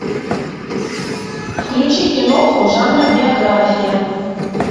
включи киноху жанра биография